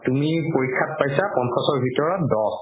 তুমি পৰীক্ষাত পাইছা পঞ্চাশৰ ভিতৰত দহ